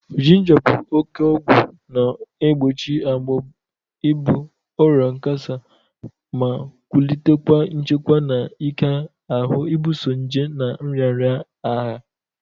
Jịnja bụ oke ọgwọ na-egbochi agbọ, ibụ, ọrịa kansa ma nwulitekwa nchekwa na ike ahụ ibuso nje na nrịanrịa agha